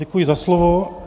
Děkuji za slovo.